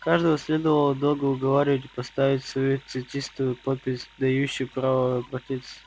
каждого следовало долго уговаривать поставить свою цветистую подпись дающую право обратиться